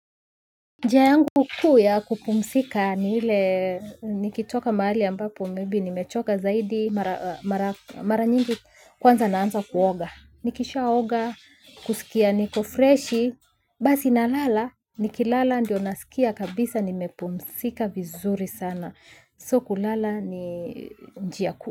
Njia yangu kuu ya kupumzika ni ile nikitoka mahali ambapo maybe nimechoka zaidi mara nyingi kwanza naanza kuoga. Nikishaoga, kusikia niko freshi, basi nalala nikilala ndio nasikia kabisa nimepumzika vizuri sana. So kulala ni njia kuu.